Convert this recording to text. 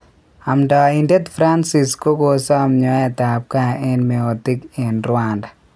Amdaitet francis kokosam nyoetap ngaa en meotik en Rwanda